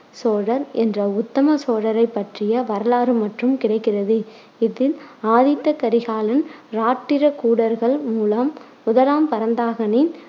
சோழர் என்ற உத்தம சோழரைப் பற்றிய வரலாறு மற்றும் கிடைக்கிறது. இதில் ஆதித்த கரிகாலன் இராட்டிரகூடர்கள் மூலம் முதலாம் பராந்தகனின்.